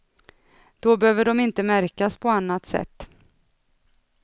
Då behöver de inte märkas på annat sätt.